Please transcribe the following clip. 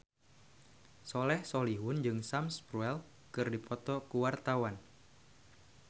Soleh Solihun jeung Sam Spruell keur dipoto ku wartawan